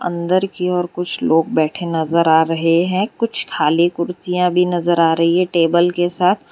अंदर की ओर कुछ लोग बैठे नजर आ रहे हैं कुछ खाली कुर्सियां भी नजर आ रही हैं टेबल के साथ --